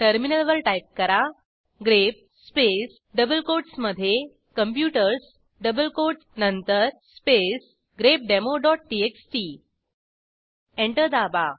टर्मिनलवर टाईप करा grep space double कोटसमधे computersडबल कोटस नंतर स्पेस ग्रेपडेमो txt एंटर दाबा